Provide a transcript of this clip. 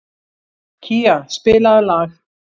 Kía, spilaðu lag.